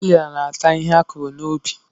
Katapịla na-ata ihe akụrụ n'ubi.